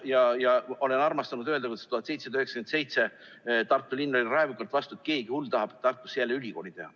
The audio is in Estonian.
Ma olen armastanud öelda, et 1797 oli Tartu linn raevukalt vastu sellele, et keegi hull tahab Tartusse jälle ülikooli teha.